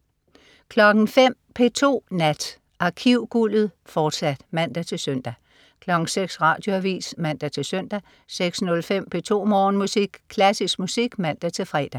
05.00 P2 Nat. Arkivguldet, fortsat (man-søn) 06.00 Radioavis (man-søn) 06.05 P2 Morgenmusik. Klassisk musik (man-fre)